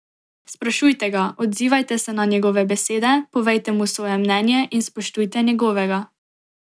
Sprašujte ga, odzivajte se na njegove besede, povejte mu svoje mnenje in spoštujte njegovega.